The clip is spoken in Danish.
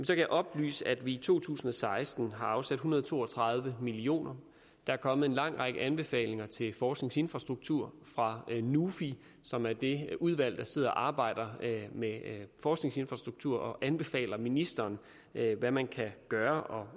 jeg oplyse at vi i to tusind og seksten har afsat en hundrede og to og tredive millioner der er kommet en lang række anbefalinger til forskningsinfrastruktur fra nufi som er det udvalg der sidder og arbejder med forskningsinfrastruktur og anbefaler ministeren hvad man kan gøre